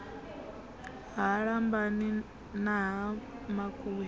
ha lambani na ha makuya